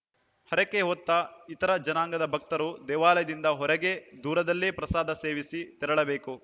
ಹರಕೆ ಹೊತ್ತ ಇತರೆ ಜನಾಂಗದ ಭಕ್ತರು ದೇವಾಲಯದಿಂದ ಹೊರಗೆ ದೂರದಲ್ಲೇ ಪ್ರಸಾದ ಸೇವಿಸಿ ತೆರಳಬೇಕು